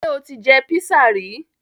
Ṣé o ti jẹ písà rí?